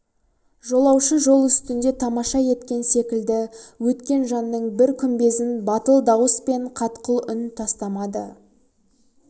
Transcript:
жолаушы жол үстінде тамаша еткен секілді өткен жанның бір күмбезін батыл дауыс пен қатқыл үн тастамады